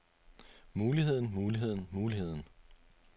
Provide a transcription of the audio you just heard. muligheden muligheden muligheden